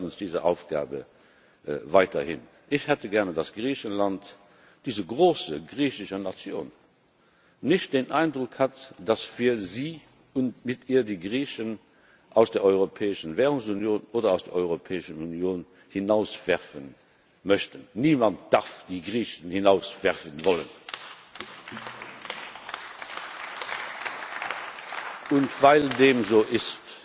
Wir stellen uns diese Aufgabe weiterhin. Ich hätte gerne, dass Griechenland, diese große griechische Nation, nicht den Eindruck hat, dass wir sie und mit ihr die Griechen aus der europäischen Währungsunion oder aus der Europäischen Union hinauswerfen möchten. Niemand darf die Griechen hinauswerfen wollen! Weil dem so